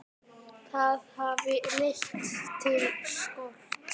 Það hafi leitt til skorts.